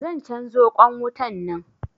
Zan canzo ƙwan wutan nan.